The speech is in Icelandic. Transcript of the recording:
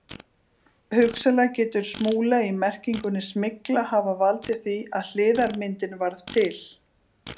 Hugsanlega getur smúla í merkingunni smygla hafa valdið því að hliðarmyndin varð til.